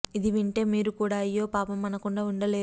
ఇది వింటే మీరు కూడా అయ్యో పాపం అనకుండా ఉండలేరు